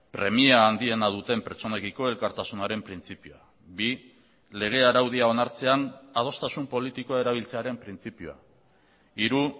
premia handiena duten pertsonekiko elkartasunaren printzipioa bi lege araudia onartzean adostasun politikoa erabiltzearen printzipioa hiru